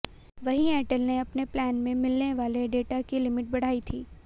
वहीं एयरटेल ने अपने प्लान में मिलने वाले डेटा की लिमिट बढ़ाई थी